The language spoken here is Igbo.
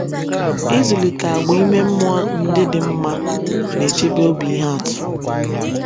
Ịzụlite àgwà ime mmụọ ndị dị mma na - echebe obi ihe atụ